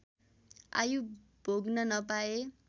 आयु भोग्न नपाए